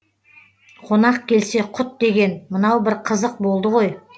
қонақ келсе құт деген мынау бір қызық болды ғой